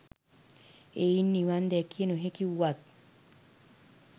එයින් නිවන් දැකිය නොහැකි වුවත්